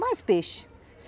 Mais peixe.